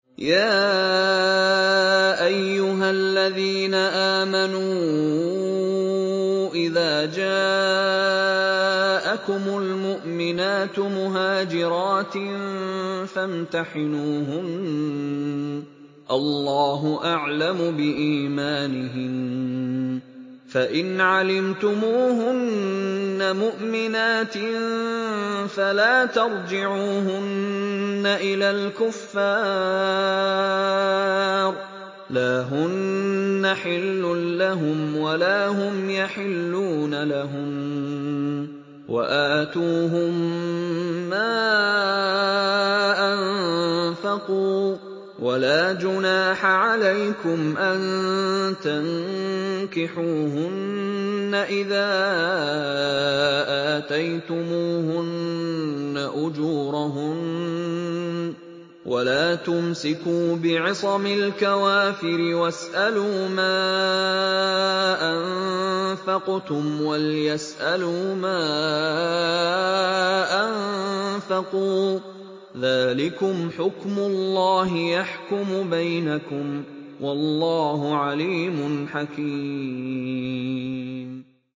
يَا أَيُّهَا الَّذِينَ آمَنُوا إِذَا جَاءَكُمُ الْمُؤْمِنَاتُ مُهَاجِرَاتٍ فَامْتَحِنُوهُنَّ ۖ اللَّهُ أَعْلَمُ بِإِيمَانِهِنَّ ۖ فَإِنْ عَلِمْتُمُوهُنَّ مُؤْمِنَاتٍ فَلَا تَرْجِعُوهُنَّ إِلَى الْكُفَّارِ ۖ لَا هُنَّ حِلٌّ لَّهُمْ وَلَا هُمْ يَحِلُّونَ لَهُنَّ ۖ وَآتُوهُم مَّا أَنفَقُوا ۚ وَلَا جُنَاحَ عَلَيْكُمْ أَن تَنكِحُوهُنَّ إِذَا آتَيْتُمُوهُنَّ أُجُورَهُنَّ ۚ وَلَا تُمْسِكُوا بِعِصَمِ الْكَوَافِرِ وَاسْأَلُوا مَا أَنفَقْتُمْ وَلْيَسْأَلُوا مَا أَنفَقُوا ۚ ذَٰلِكُمْ حُكْمُ اللَّهِ ۖ يَحْكُمُ بَيْنَكُمْ ۚ وَاللَّهُ عَلِيمٌ حَكِيمٌ